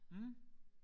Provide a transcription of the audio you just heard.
Mh